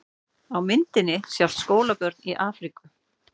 Á myndinni sjást skólabörn í Afríku.